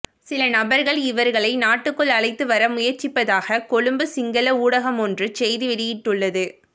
சில நபர்கள் இவர்களை நாட்டுக்குள் அழைத்து வர முயற்சிப்பதாக கொழும்பு சிங்கள ஊடகமொன்று செய்தி வெளியிட்டுள்ளது